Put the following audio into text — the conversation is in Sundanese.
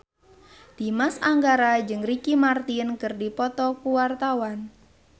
Dimas Anggara jeung Ricky Martin keur dipoto ku wartawan